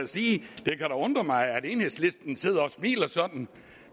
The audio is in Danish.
kan undre mig at enhedslisten sidder og smiler sådan